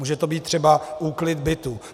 Může to být třeba úklid bytu.